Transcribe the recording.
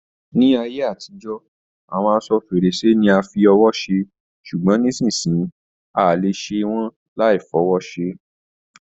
Ni ayé àtijọ́, awọn aṣọ-férèsí ni a fi ọwọ́ ṣe, ṣugbọn nisisiyi, a le ṣe wọn laifọwọ́ ṣe.